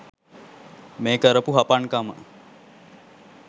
මේ කරපු හපන්කම